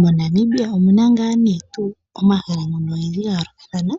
MoNamibia omuna omahala ngoka ga yoolokathana